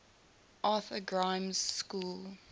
arthur grimes school